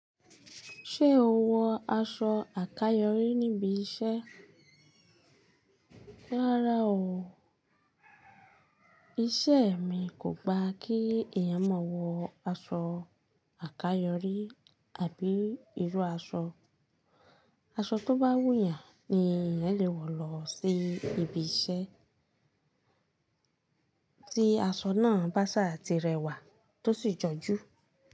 Ṣé o wọ aṣọ àkayòrí níbi iṣẹ́? Rárá o, iṣẹ́ e mi kò gba kí ẹ̀yàn máa wọ aṣọ àkayòrí àbí irú aṣọ. Aṣọ tó bá wù yàn ni ẹ̀yàn lè wọ̀ lọ sí ibi iṣẹ́, tí aṣọ náà bá ṣà ti rẹwà tó sì jọjú.